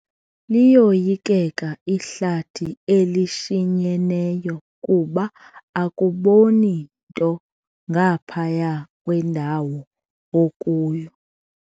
Liyoyikeka ihlathi elishinyeneyo kuba akuboni nto ngaphaya kwendawo okuyo.